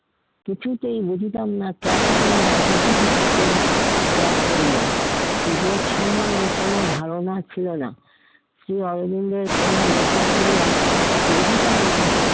কিছুতেই বুঝিতাম না কেন তিনি রাজনীতি ক্ষেত্র ত্যাগ করলেন, যোগ সমন্ধে কোনো ধারণা ছিলো না। শ্রী অরবিন্দের কোনো লেখা পড়িয়া বুঝিতাম না।